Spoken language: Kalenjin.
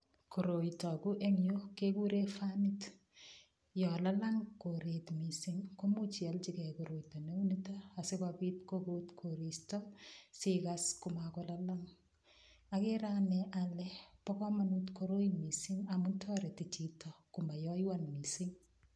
Koroi toku eng' yu kekure fanit yo lalang' koret mising' komuuch iolchigei koroito neu nito asikobit kokut koristo sikas komakolalang' agere ane ale bo komonut koroi mising' amun toreti chito komayoywan mising'